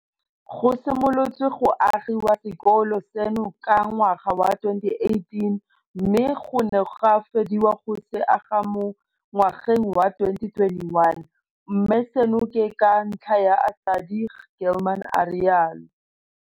Go simolotswe go agiwa sekolo seno ka ngwaga wa 2018 mme go ne ga fediwa go se aga mo ngwageng wa 2021, mme seno ke ka ntlha ya ASIDI, Gilman a rialo.